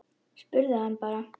Spurðu hann bara.